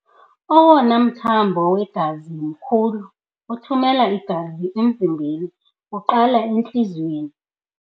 Owona mthambo wegazi mkhulu othumela igazi emzimbeni uqala entliziyweni.